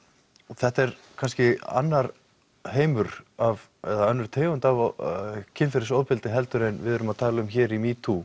þetta er kannski annar heimur eða önnur tegund af kynferðisofbeldi heldur en við erum að tala um hér í metoo